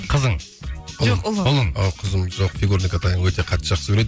қызың жоқ ұлы ұлың қызым жоқ фигурное катание өте қатты жақсы көреді